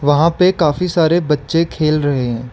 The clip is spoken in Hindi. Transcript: वहां पे काफी सारे बच्चे खेल रहे हैं।